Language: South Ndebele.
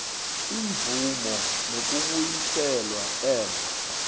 imvumo nokubuyiselwa emva